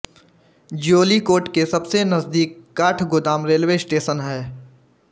ज्योलिकोट के सबसे नजदीक काठगोदाम रेलवे स्टेशन है